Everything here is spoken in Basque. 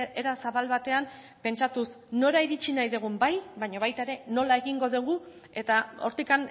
era zabal batean pentsatuz nora iritsi nahi dugun bai baina baita ere nola egingo dugu eta hortik